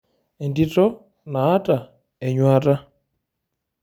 Entito naata enyuata.